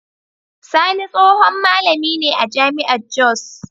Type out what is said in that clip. Sani tsohon malami ne a jami'ar Jos.